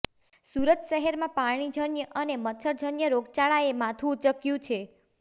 સુરત શહેરમાં પાણીજન્ય અને મચ્છરજન્ય રોગચાળાએ માથુ ઉચક્યું છે